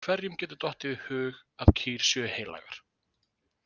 Hverjum getur dottið í hug að kýr séu heilagar?